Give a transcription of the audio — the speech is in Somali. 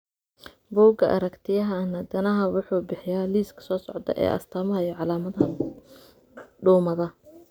Bugga Aragtiyaha Aanadanaha wuxuu bixiyaa liiska soo socda ee astamaha iyo calaamadaha duumada.